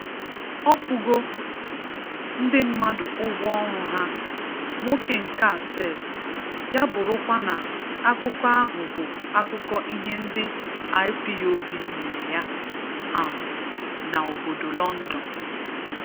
Ọkwụgo ndị mmadụ ụgwọ ọrụ ha Nwoke nka sef, ya bụrụkwa Na akụkọ ahụ bụ akụkọ ihe ndị IPOB mere ya um na obodo London